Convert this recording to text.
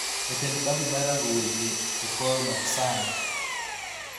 jatend kambi mar rango weche e Khor Maksar